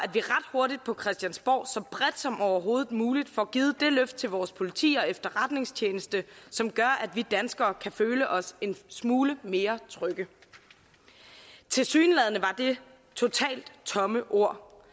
hurtigt på christiansborg så bredt som overhovedet muligt får givet det løft til vores politi og efterretningstjeneste som gør at vi danskere kan føle os en smule mere trygge tilsyneladende var det totalt tomme ord